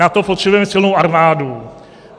Na to potřebujeme silnou armádu.